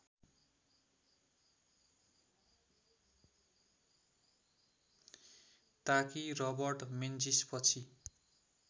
ताकि रबर्ट मेन्जिसपछि